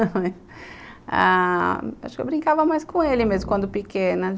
ah.. Acho que eu brincava mais com ele mesmo quando pequena.